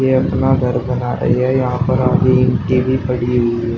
ये अपना घर बना रही है यहां पर भी पड़ी हुई है।